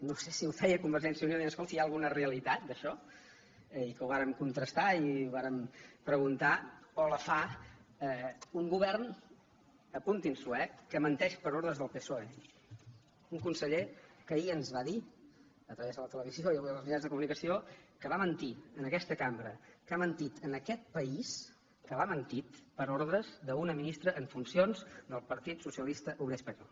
no sé si ho feia convergència i unió dient escolti hi ha alguna realitat d’ai xò i que ho vàrem contrastar i ho vàrem preguntar o la fa un govern apuntin s’ho eh que menteix per ordres del psoe un conseller que ahir ens va dir a través de la televisió i avui en els mitjans de comunicació que va mentir en aquesta cambra que ha mentit a aquest país que l’ha mentit per ordres d’una ministra en funcions del partit socialista obrer espanyol